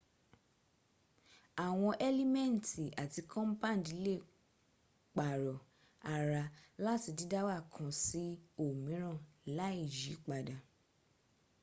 àwọn elimenti ati compandi lè pàrọ̀ ara láti dídáwà kan sí òmíràn láì yípadà